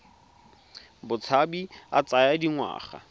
a botshabi a tsaya dingwaga